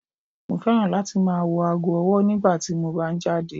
Mo fẹ́ràn láti máa wò aago ọwọ́ nígbà tí mo bá ń jáde.